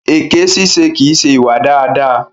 Èké ṣíṣe kìí ṣe ìwà dáadáa.